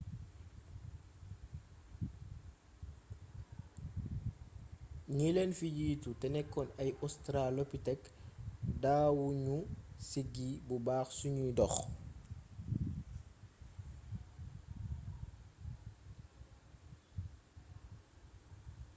ñi leen fi jiitu te nekkoon ay australopithèque daawu ñu siggi bu baax suñuy dox